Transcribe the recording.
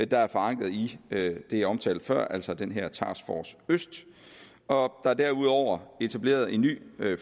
der er forankret i det jeg omtalte før altså den her task force øst og der er derudover etableret en ny